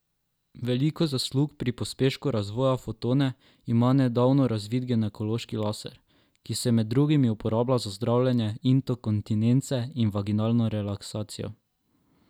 Veliko zaslug pri pospešku razvoja Fotone ima nedavno razvit ginekološki laser, ki se med drugim uporablja za zdravljenje inkontinence in vaginalno relaksacijo.